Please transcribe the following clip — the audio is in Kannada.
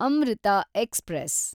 ಅಮೃತ ಎಕ್ಸ್‌ಪ್ರೆಸ್